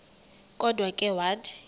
kodwa ke wathi